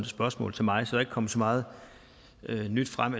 spørgsmål til mig så ikke kommet så meget nyt frem